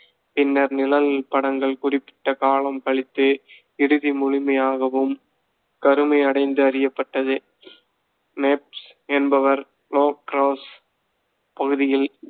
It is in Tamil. பின்னர், நிழல் படங்கள் குறிப்பிட்ட காலம் கழித்து இறுதி முழுமையாகவும் கருமையடைந்து அறியப்பட்டது. நைப்ஸ் என்பவர், லோ கிராஸ் பகுதியில்,